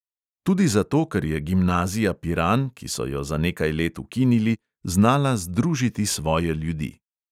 Tudi zato, ker je gimnazija piran, ki so jo za nekaj let ukinili, znala združiti svoje ljudi.